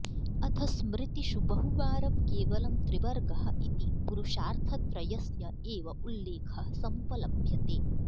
अथ स्मृतिषु बहुवारं केवलं त्रिवर्गः इति पुरुषार्थत्रयस्य एव उल्लेखः समुपलभ्यते